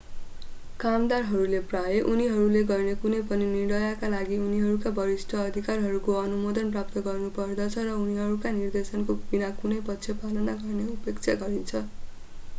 कामदारहरूले प्रायः उनीहरूले गर्ने कुनै पनि निर्णयका लागि उनीहरूका वरिष्ठ अधिकारीहरूको अनुमोदन प्राप्त गर्नुपर्दछ र उनीहरूका निर्देशनहरू बिना कुनै प्रश्न पालन गर्ने अपेक्षा गरिन्छ